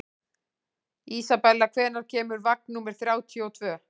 Isabella, hvenær kemur vagn númer þrjátíu og tvö?